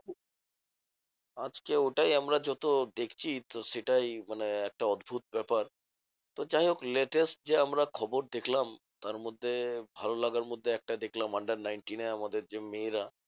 আজকে ওটাই আমরা যত দেখছি তো সেটাই মানে একটা অদ্ভুদ ব্যাপার। তো যাইহোক latest যে আমরা খবর দেখলাম তারমধ্যে ভালো লাগার মধ্যে একটাই দেখলাম under nineteen এ আমাদের যে মেয়েরা